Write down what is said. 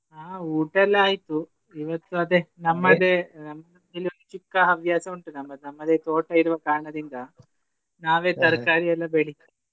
ಹಾ ಊಟ ಎಲ್ಲ ಆಯ್ತು ಇವತ್ತು ಅದೇ ಇಲ್ಲಿ ಒಂದು ಚಿಕ್ಕ ಹವ್ಯಾಸ ಉಂಟು ನಮ್ಮದು ನಮ್ಮದೇ ತೋಟ ಇರುವ ಕಾರಣದಿಂದ ಎಲ್ಲ ಬೆಳಿಯೂದು.